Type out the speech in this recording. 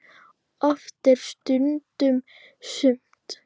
Oft er stundum sumt.